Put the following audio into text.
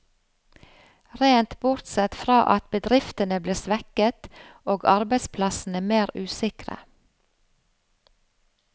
Rent bortsett fra at bedriftene blir svekket, og arbeidsplassene mer usikre.